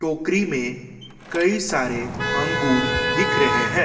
टोकरी में कई सारे अंगूर दिख रहे हैं।